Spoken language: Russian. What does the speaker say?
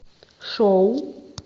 шоу